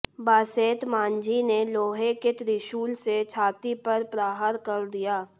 बासेत माझी ने लोहे के त्रिशूल से छाती पर प्रहार कर दिया